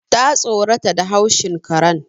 Ta tsorata da haushin karen